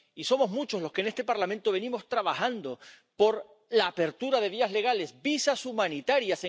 Y somos muchos los que en este Parlamento venimos trabajando por la apertura de vías legales, visados humanitarios.